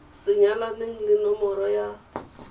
sa nyalaneleng le nomoro ya